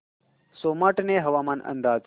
सोमाटणे हवामान अंदाज